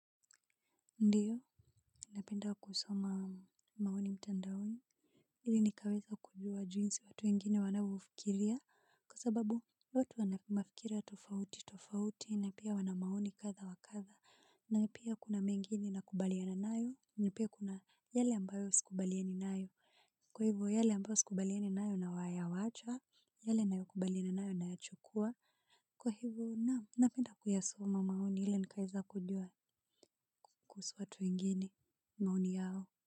Ndiyo napenda kusoma maoni mtandaoni ili nikaweza kujua jinsi watu wengine wanavyofikiria kwa sababu watu wanamafikira tofauti tofauti na pia wanamaoni kadha wakadha na pia kuna mengine nakubaliana nayo na pia kuna yale ambayo sikubaliani nayo kwa hivo yale ambayo sikubaliani nayo na wa ya wacha yale nayo kubaliana nayo na yachukua kwa hivo na napenda kuyasoma maoni ili nikaeza kujua kuhusu watu wengine. Maoni yao.